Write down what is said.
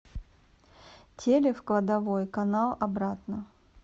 телик в кладовой канал обратно